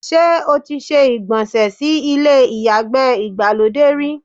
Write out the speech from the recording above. Ṣé́ o ti se ìgbọ̀nsẹ̀ sí ilé ìyàgbẹ́ ìgbàlódé rí?